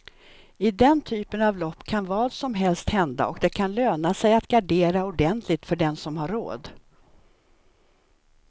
I den typen av lopp kan vad som helst hända och det kan löna sig att gardera ordentligt, för den som har råd.